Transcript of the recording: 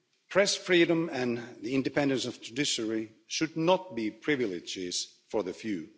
Press freedom and the independence of the judiciary should not be privileges for the few